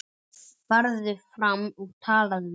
Farðu fram og talaðu við